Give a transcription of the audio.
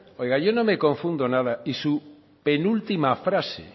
oiga yo no me confundo nada en su última frase